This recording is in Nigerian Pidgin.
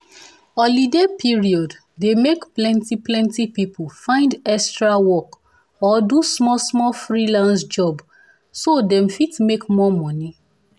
holiday period dey make plenty plenty people find extra work or do small-small freelance job so dem fit make more money